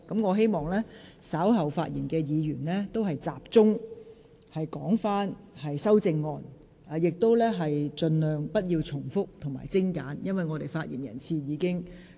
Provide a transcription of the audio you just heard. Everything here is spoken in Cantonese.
我希望稍後發言的議員可以集中論述本環節涉及的修正案，而且發言盡量精簡，不要重複論點。